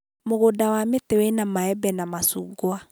mũgunda wa mĩtĩ wĩna maembe na macungwa.